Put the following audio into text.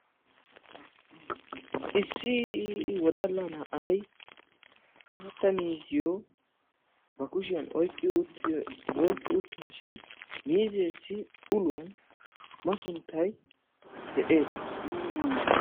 Issi wodalla na'ay maatta miizziyo ba kushiyaan oyqqi uttashin miizzeyo uluwaan masunttay de'ees.